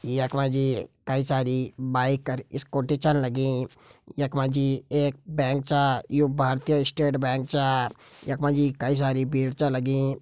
यख मा जी कई सारी बाइक और स्कूटी छन लगीं यख मा जी एक बैंक छ यू भारतीय स्टेट बैंक छ यख मा जी कई सारी भीड़ छ लगीं।